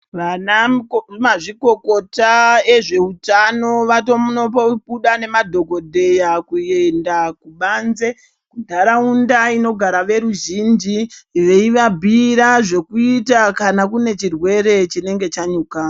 Vana mazvikokota ezve utano vatono buda ne madhokodheya kuenda kubanze ndaraunda inogara ve ruzhinji vei vabhuyira zvokuita kane kune chirwere chinenge chanyuka.